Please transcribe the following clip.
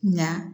Nka